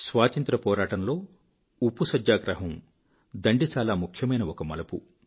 స్వాతంత్ర్య పోరాటంలో ఉప్పు సత్యాగ్రహం దాండి చాలా ముఖ్యమైన ఒక మలుపు